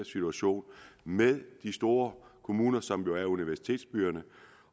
situation med de store kommuner som jo er universitetsbyerne